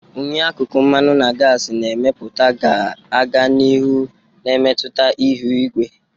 unyi akụkụ mmanụ na gasi na-emepụta ga-aga n'ihu na-emetụta ihu igwe.